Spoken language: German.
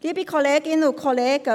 Liebe Kolleginnen und Kollegen: